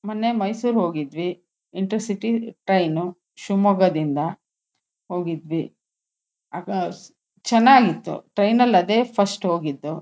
ಮೊನ್ನೆ ಮೈಸೂರ್ ಹೋಗಿದ್ವಿ intercity train ಶಿವಮೊಗ್ಗದಿಂದ ಹೋಗಿದ್ವಿ ಆಗ ಚೆನ್ನಾಗ್ ಇತ್ತು ಟ್ರೈನ್ ನಲ್ಲಿ ಅದೇ ಫಸ್ಟ್ ಹೋಗಿದ್ದು.